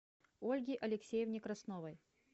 ольге алексеевне красновой